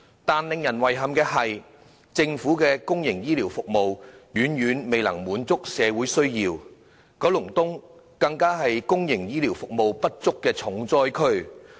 但是，令人遺憾的是，政府的公營醫療服務遠遠未能滿足社會需要，九龍東更是公營醫療服務不足的重災區。